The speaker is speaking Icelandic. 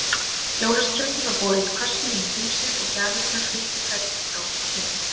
Jólaskrautið var borið í kössum inní húsið og gjafirnar fylltu hvern krók og kima.